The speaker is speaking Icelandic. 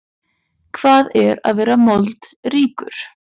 Hvað er að vera moldríkur?